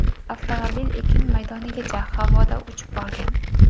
Avtomobil ekin maydonigacha havoda uchib borgan.